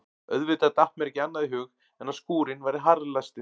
Auðvitað datt mér ekki annað í hug en að skúrinn væri harðlæstur.